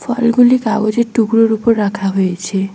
ফলগুলি কাগজের টুকরোর ওপর রাখা হয়েছে।